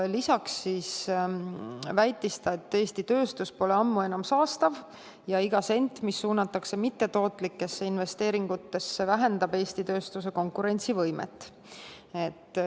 Ta väitis, et Eesti tööstus pole ammu enam saastav ja iga sent, mis suunatakse mittetootlikesse investeeringutesse, vähendab Eesti tööstuse konkurentsivõimet.